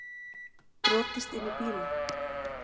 Brotist inn í bíla